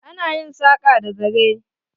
Ana yin saƙa da zare.